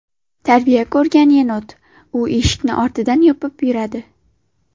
Tarbiya ko‘rgan yenot: u eshikni ortidan yopib yuradi .